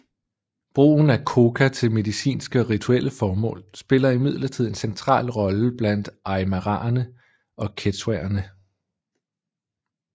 Brugen af coca til medicinske og rituelle formål spiller imidlertid en central rolle blandt aymaraerne og quechuaerne